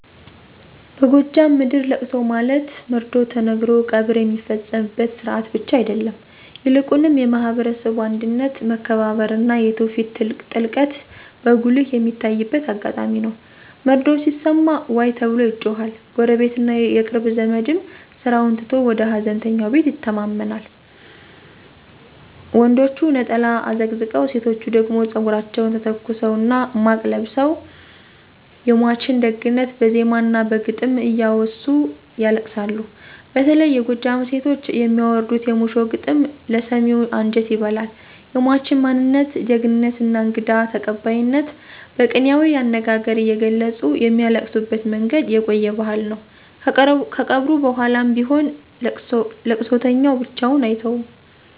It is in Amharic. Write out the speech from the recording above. በጎጃም ምድር ለቅሶ ማለት መርዶ ተነግሮ ቀብር የሚፈጸምበት ሥርዓት ብቻ አይደለም፤ ይልቁንም የማህበረሰቡ አንድነት፣ መከባበርና የትውፊት ጥልቀት በጉልህ የሚታይበት አጋጣሚ ነው። መርዶው ሲሰማ “ዋይ” ተብሎ ይጮሃል፣ ጎረቤትና የቅርብ ዘመድም ስራውን ትቶ ወደ ሃዘንተኛው ቤት ይተማመናል። ወንዶቹ ነጠላ አዘቅዝቀው፣ ሴቶቹ ደግሞ ፀጉራቸውን ተተኩሰውና ማቅ ለብሰው የሟችን ደግነት በዜማና በግጥም እያወሱ ያለቅሳሉ። በተለይ የጎጃም ሴቶች የሚያወርዱት "የሙሾ ግጥም" ለሰሚው አንጀት ይበላል፤ የሟችን ማንነት፣ ጀግንነትና እንግዳ ተቀባይነት በቅኔያዊ አነጋገር እየገለጹ የሚያለቅሱበት መንገድ የቆየ ባህል ነው። ከቀብሩ በኋላም ቢሆን ለቅሶተኛው ብቻውን አይተውም።